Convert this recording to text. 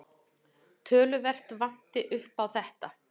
Töluvert vanti upp á þetta.